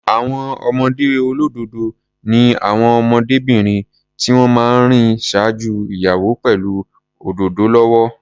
Àwọn ọmọdé olódòdó ni àwọn ọmọdébìnrin tí wọ́n máa ń rìn ṣáájú ìyàwó pẹ̀lú òdòdó lọ́wọ́.